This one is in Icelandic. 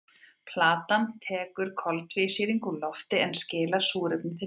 Plantan tekur koltvísýring úr lofti en skilar súrefni til baka.